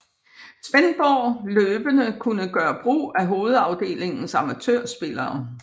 Svendborg løbende kunne gøre brug af hovedafdelingens amatørspillere